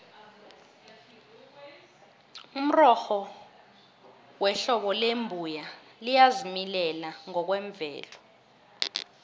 umrorho wehlobo lembuya liyazimilela ngokwemvelo